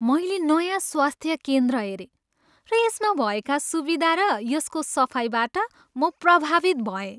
मैले नयाँ स्वास्थ्य केन्द्र हेरेँ र यसमा भएका सुविधा र यसको सफाइबाट म प्रभावित भएँ।